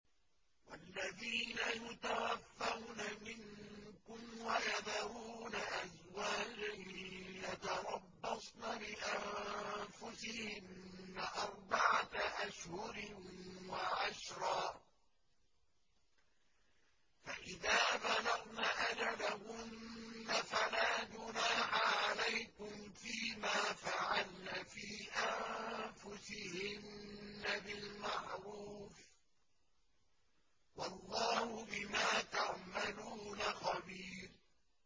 وَالَّذِينَ يُتَوَفَّوْنَ مِنكُمْ وَيَذَرُونَ أَزْوَاجًا يَتَرَبَّصْنَ بِأَنفُسِهِنَّ أَرْبَعَةَ أَشْهُرٍ وَعَشْرًا ۖ فَإِذَا بَلَغْنَ أَجَلَهُنَّ فَلَا جُنَاحَ عَلَيْكُمْ فِيمَا فَعَلْنَ فِي أَنفُسِهِنَّ بِالْمَعْرُوفِ ۗ وَاللَّهُ بِمَا تَعْمَلُونَ خَبِيرٌ